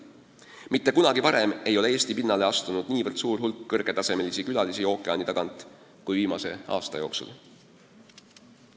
Mitte kunagi varem ei ole Eesti pinnale astunud nii suur hulk kõrgel tasemel külalisi ookeani tagant kui viimase aasta jooksul.